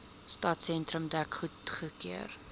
stadsentrum dek goedgekeur